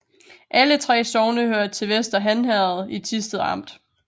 Alle 3 sogne hørte til Vester Han Herred i Thisted Amt